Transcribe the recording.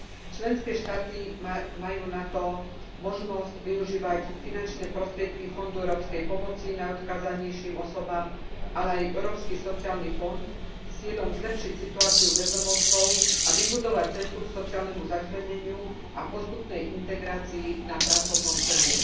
Členské štáty majú na to možnosť využívať finančné prostriedky Fondu európskej pomoci najodkázanejším osobám, ale aj Európsky sociálny fond s cieľom zlepšiť situáciu bezdomovcov a vybudovať cestu k sociálnemu začleneniu a postupnej integrácii na pracovnom trhu.